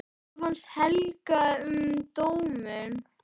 Hvað fannst Helga um dóminn?